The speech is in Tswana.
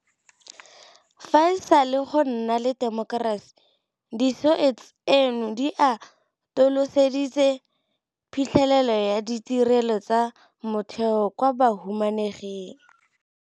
Fa e sale go nna le temokerasi, Di-SOE tseno di atoloseditse phitlhelelo ya ditirelo tsa motheo kwa bahumaneging.